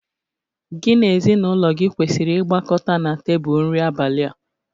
Gị na ezinụlọ gị kwesịrị ịgbakọta na tebụl nri abalị a